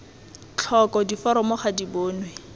tlhoko diforomo ga di bonwe